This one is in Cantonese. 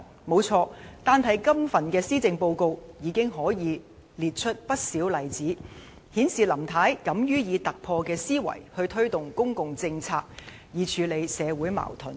沒錯，這份施政報告已有不少例子，顯示林太敢於以突破的思維，推動公共政策以處理社會矛盾。